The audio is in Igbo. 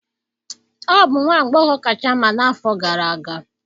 Ọ bụ nwa agbọghọ kacha mma n'afọ gara aga